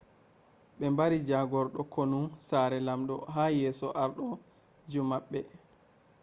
be bari jagordo konu sare lamdo ha yeso ardo ju mabbe